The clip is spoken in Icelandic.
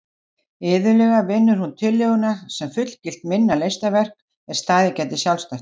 Iðulega vinnur hún tillöguna sem fullgilt minna listaverk er staðið geti sjálfstætt.